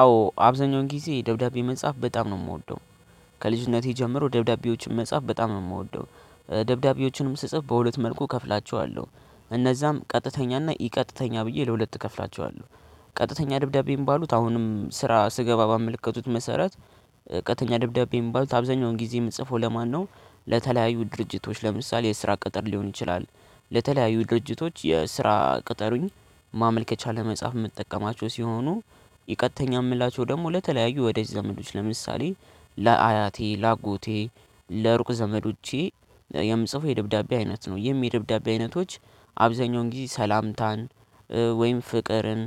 አዎ አብዛኛውን ጊዜ ደብዳቤ መጻፍ በጣም ነው የምወደው። ከልጅነቴ ጀምሮ ደብዳቤዎችን መጻፍ በጣም ነው የምወደው። ደብዳቤዎችንም ስጽፍ በሁለት መልኩ እከፍላቸዋለሁ። እነዛም ቀጥተኛና ኢ ቀጥተኛ ብዬ ለሁለት እከፍላቸዋለሁ። ቀጥተኛ ደብዳቤ የሚባሉት አሁንም ስራ ስገባ ባመለከትኩት መሰረት። ቀጥተኛ ደብዳቤ የሚባሉት አብዛኛውን ጊዜም ጽፎ ለማነው? ለተለያዩ ድርጅቶች ለምሳሌ የስራ ቅጥር ሊሆን ይችላል። ለተለያዩ ድርጅቶች የስራ ቅጠሩኝ ማመልከቻ ለመጻፍ የምጠቀማቸው ሲሆኑ። ኢ ቀጥተኛ የምላቸው ደግሞ ለተለያዩ ወዳጅ ዘመዶች ለምሳሌ ለአያቴ ለአጎቴ ለሩቅ ዘመዶቼ የምጽፈው የደብዳቤ አይነት ነው ይህም የደብዳቤ አይነቶች። አብዛኛውን ጊዜ ሰላምታን ወይም ፍቅርን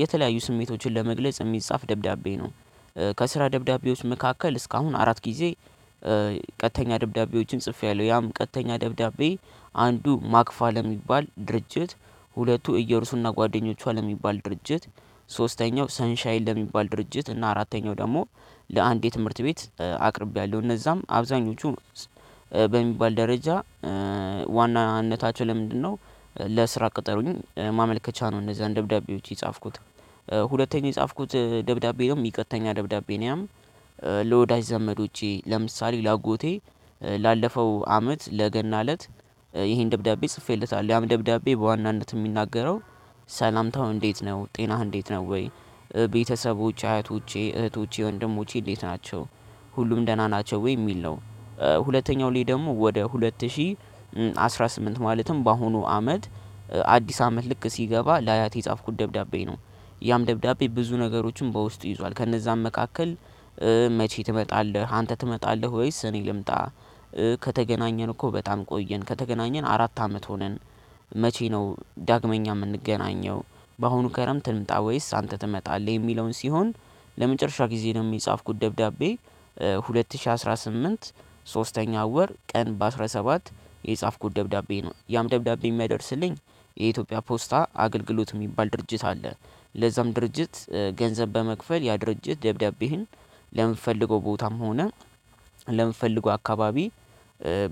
የተለያዩ ስሜቶችን ለመግለጽ የሚጻፍ ደብዳቤ ነው። ከስራ ደብዳቤዎች መካከል እስካሁን አራት ጊዜ። ቀጥተኛ ደብዳቤዎችን ጽፌያለሁ ያም ቀጥተኛ ደብዳቤ አንዱ ማክፋ ለሚባል ድርጅት ሁለቱ እየሩሱና ጓደኞቿ ለሚባል ድርጅት ሶስተኛው ሰንሻይን ለሚባል ድርጅት እና አራተኛው ደግሞ ለአንድ የትምህርት ቤት አቅርቢያለሁ። እነዛም አብዛኞቹ በሚባል ደረጃ ዋና ዋናነታቸው ለምንድነው? ለስራ ቅጠሩኝ ማመልከቻ ነው እንዛን ደብዳቤዎች የጻፍኩት። ሁለተኛ የጻፍኩት ደብዳቤ ኢ ቀጥተኛ ደብዳቤ ነው። ያም ለወዳጅ ዘመዶቼ ለምሳሌ ለአጎቴ ላለፈው አመት ለገና እለት ይሄን ደብዳቤ ጽፌለታለሁ። ያም ደብዳቤ በዋናነት የሚናገረው ሰላምታው እንዴት ነው? ጤናህ እንዴት ነው? ወይ ቤተሰቦች አያቶቼ እህቶቼ ወንድሞቼ እንዴት ናቸው? ሁሉም ደህና ናቸው ወይ የሚል ነው። ሁለተኛው ላይ ደግሞ ወደ ሁለት ሺህ አስራ ስምንት ማለትም በአሁኑ አመት አዲስ አመት ልክ ሲገባ ለአያቴ የጻፍኩት ደብዳቤ ነው። ያም ደብዳቤ ብዙ ነገሮችን በውስጡ ይዟል ከነዛም መካከል። መቼ ትመጣለህ አንተ ትመጣለህ ወይስ እኔ ልምጣ? ከተገናኘን እኮ በጣም ቆየን ከተገናኘን አራት አመት ሆነን። መቼ ነው ዳግመኛ የምንገናኘው? በአሁኑ ከረምት ልምጣ ወይስ አንተ ትመጣለህ የሚለውን ሲሆን። ለመጨረሻ ጊዜ ደግሞ የጻፍኩት ደብዳቤ። ሁለት ሺህ አስራ ስምንት ሶስተኛው ወር ቀን በአስራ ሰባት የጻፍኩት ደብዳቤ ነው። ያም ደብዳቤ የሚያደርስልኝ የኢትዮጵያ ፖስታ አገልግሎት የሚባል ድርጅት አለ። ለዛም ድርጅት ገንዘብ በመክፈል ያ ድርጅት ደብዳቤህን ለምፈልገው ቦታም ሆነ ለምፈልገው አካባቢ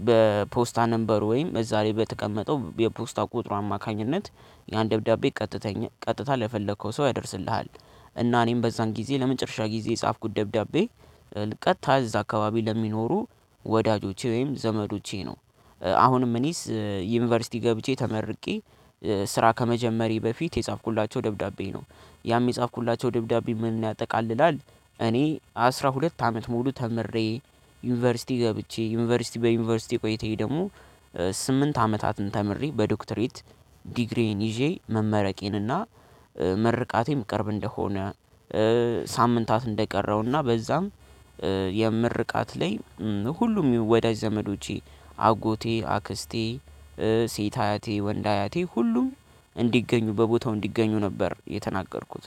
በፖስታ ነምበር ወይም እዛ ላይ በተቀመጠው የፖስታ ቁጥሩ አማካኝነት ያን ደብዳቤ። ቀጥታ ለፈለከው ሰው ያደርስልሃል። እና እኔም በዛን ጊዜ ለመጨረሻ ጊዜ የጻፍኩት ደብዳቤ። ቀጥታ እዛ አካባቢ ለሚኖሩ ወዳጆቼ ወይም ዘመዶቼ ነው። አሁንም እኔስ ዩኒቨርሲቲ ገብቼ ተመርቄ ስራ ከመጀመሬ በፊት የጻፍኩላቸው ደብዳቤ ነው። ያም የጻፍኩላቸው ደብዳቤ ምን ያጠቃልላል? እኔ አስራ ሁለት አመት ሙሉ ተምሬ ዩኒቨርሲቲ ገብቼ ዩኒቨርሲቲ በዩኒቨርሲቲ ቆይታዬ ደግሞ ስምንት አመታትን ተምሬ በዶክትሬት ዲግሪዬን ይዤ መመረቄን እና ምርቃቴም ቅርብ እንደሆነ ሳምንታት እንደቀረውና በዛም የምርቃት ላይ ሁሉም ወዳጅ ዘመዶቼ አጎቴ አክስቴ ሴት አያቴ ወንድ አያቴ ሁሉም እንዲገኙ በቦታው እንዲገኙ ነበር የተናገርኩት